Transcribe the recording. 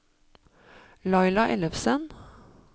Laila Ellefsen